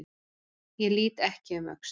Ég lít ekki um öxl.